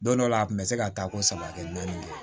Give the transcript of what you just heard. Don dɔ la a kun bɛ se ka taa ko saba kɛ naani ye